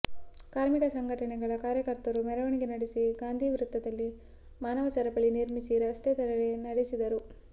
ಕಾರ್ಮಿಕ ಸಂಘಟನೆಗಳ ಕಾರ್ಯಕರ್ತರು ಮೆರವಣಿಗೆ ನಡೆಸಿ ಗಾಂಧಿವೃತ್ತದಲ್ಲಿ ಮಾನವ ಸರಪಳಿ ನಿರ್ಮಿಸಿ ರಸ್ತೆ ತಡೆ ನಡೆಸಿದರು